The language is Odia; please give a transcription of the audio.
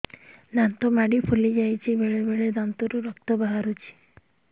ଦାନ୍ତ ମାଢ଼ି ଫୁଲି ଯାଉଛି ବେଳେବେଳେ ଦାନ୍ତରୁ ରକ୍ତ ବାହାରୁଛି